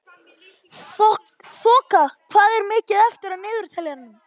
Þoka, hvað er mikið eftir af niðurteljaranum?